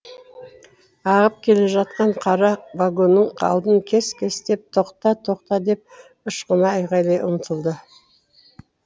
ағып келе жатқан қара вагонның алдын кес кестеп тоқта тоқта деп ышқына айғайлай ұмтылды